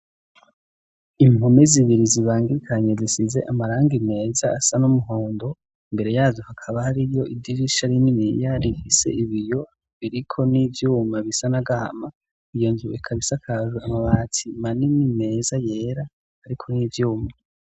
impome zibiri zibangikanye zisize amaranga meza asa numuhondo mbere yazo hakaba hariyo idirisha rinini rifise ibiyo biriko nivyuma bisa nagahama iyo nzu ikaba isakajwe amabati manini meza yera ariko nivyuma